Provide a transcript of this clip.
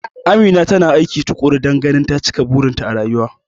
Amina tana aiki tukuru dan ganin ta cika burin ta a rayuwa